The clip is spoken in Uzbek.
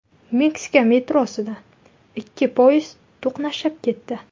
Meksika metrosida ikki poyezd to‘qnashib ketdi.